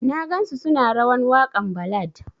Na gan su suna rawan wakan ballad.